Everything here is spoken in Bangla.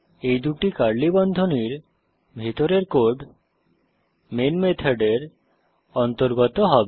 এই দুই কার্লি বন্ধনীর ভিতরের কোড মেইন মেথডের অন্তর্গত হবে